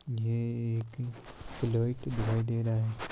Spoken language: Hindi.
ये एक फ्लॉइट दिखाई दे रहा है।